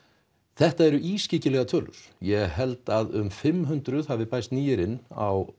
þetta eru ískyggilegar tölur ég held að um fimm hundruð hafi bæst nýir inn á